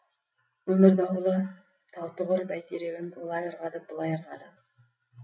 өмір дауылы таутұғыр бәйтерегін олай ырғады былай ырғады